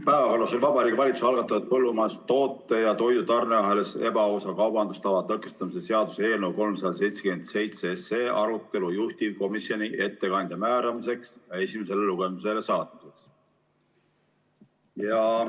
Päevakorras oli Vabariigi Valitsuse algatatud põllumajandustoote ja toidu tarneahelas ebaausa kaubandustava tõkestamise seaduse eelnõu 377 arutelu juhtivkomisjoni ettekandja määramiseks ja esimesele lugemisele saatmiseks.